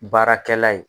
Baarakɛla ye